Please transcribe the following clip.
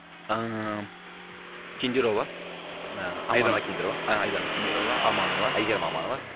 ааа кендирова а айдана кендирова а айдана кендирова аманова айгерім аманова